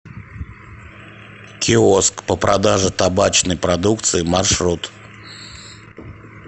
киоск по продаже табачной продукции маршрут